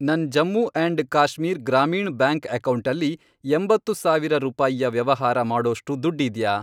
ನನ್ Jammu and Kashmir Grameen bank ಅಕೌಂಟಲ್ಲಿ, ಎಂಬತ್ತು ಸಾವಿರ ರೂಪಾಯಿಯ ವ್ಯವಹಾರ ಮಾಡೋಷ್ಟು ದುಡ್ಡಿದ್ಯಾ?